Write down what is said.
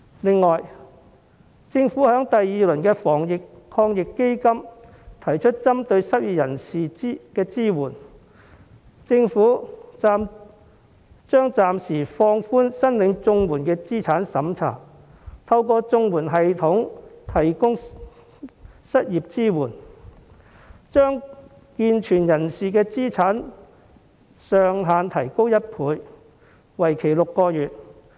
此外，政府在第二輪防疫抗疫基金中提出針對失業人士的支援，將會暫時放寬申領綜援的資產審查，透過綜援系統提供失業支援，把健存人士的資產上限提高1倍，為期6個月。